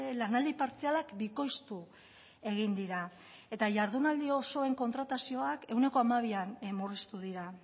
lanaldi partzialak bikoiztu egin dira eta jardunaldi osoen kontratazioak ehuneko hamabian murriztu dira